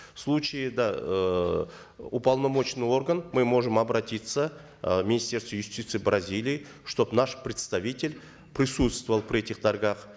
в случае да эээ уполномоченный орган мы можем обратиться э к министерству юстиции бразилии чтобы наш представитель присутствовал при этих торгах